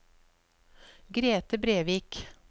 Grethe Brevik